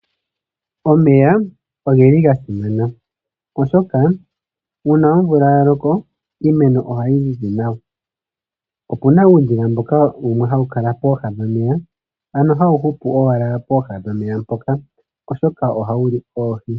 Omeya ogeli ga simana oshoka uuna omvula ya loko iimeno ohayi mene nawa. Opuna wo uudhila mboka wumwe hawu kala pooha nomeya ano hawu hupu owala pooha dhomeya mpoka oshoka ohawu li oohi.